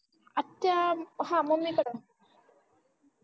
आत्या आह हा मम्मीकड